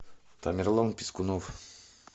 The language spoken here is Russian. тамерлан пискунов